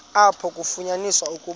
apho kwafunyaniswa ukuba